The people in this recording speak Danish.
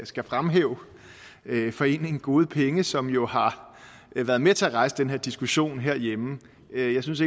skal fremhæve foreningen gode penge som jo har været med til at rejse den her diskussionen herhjemme jeg synes